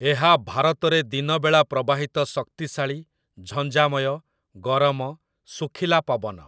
ଏହା ଭାରତରେ ଦିନବେଳା ପ୍ରବାହିତ ଶକ୍ତିଶାଳୀ, ଝଞ୍ଜାମୟ, ଗରମ, ଶୁଖିଲା ପବନ ।